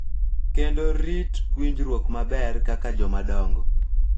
Kendo rit winjruok maber kaka jomadongo.